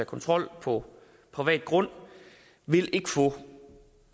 kontrol på privat grund vil ikke få